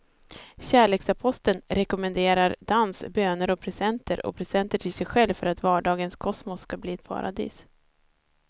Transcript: Kärleksaposteln rekommenderar dans, böner och presenter och presenter till sig själv för att vardagens kosmos ska bli ett paradis.